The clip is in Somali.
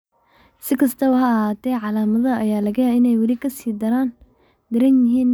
Si kastaba ha ahaatee, calaamadaha ayaa laga yaabaa inay weli ka sii daran yihiin dhinac marka loo eego dhinaca kale.